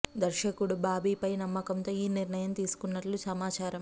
దర్శకుడు బాబీ ఫై నమ్మకం తో ఈ నిర్ణయం తీసుకున్నట్లు సమాచారం